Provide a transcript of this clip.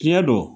Tiɲɛ don